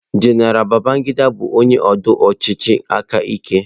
General Babangida bụ onye ndu ọchịchị aka ike.